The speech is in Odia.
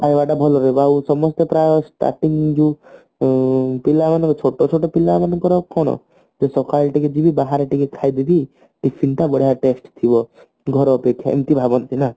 ଖାଇବାଟା ଭଲ ରହିବ ଆଉ ସମସ୍ତେ ପ୍ରାଏ starting ଯୋଉ ଉଁ ପିଲାମାନଙ୍କୁ ଛୋଟ ଛୋଟ ପିଲାମାନଙ୍କର କଣ ଟିକେ ସଖାଳୁ ଟିକେ ଯିବି ବାହାରେ ଟିକେ ଖାଇଦେବି tiffin ତ ବଢିଆ ଥିବ ଘର ଅପେକ୍ଷା ଏମତି ଭାବନ୍ତି ନା